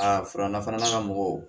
Aa fura nafana ka mɔgɔw